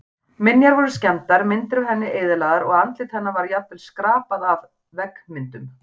Minjar voru skemmdar, myndir af henni eyðilagðar og andlit hennar var jafnvel skrapað af veggmyndum.